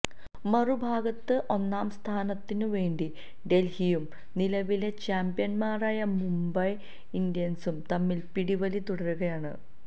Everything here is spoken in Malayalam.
മറുഭാഗത്ത് ഒന്നാംസ്ഥാനത്തിനു വേണ്ടി ഡല്ഹിയും നിലവിലെ ചാംപ്യന്മാരായ മുംബൈ ഇന്ത്യന്സും തമ്മില് പിടിവലി തുടരുകയാണ്